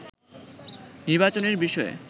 নির্বাচনের বিষয়ে